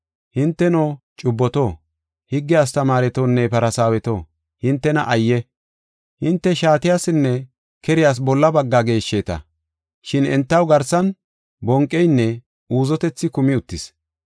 “Hinteno, cubboto, higge astamaaretonne Farsaaweto, hintena ayye! Hinte shaatiyasinne keriyas bolla baggaa geeshsheeta. Shin entaw garsan bonqeynne uuzetethi kumi uttis.